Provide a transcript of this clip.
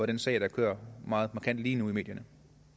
den sag der kører meget markant i medierne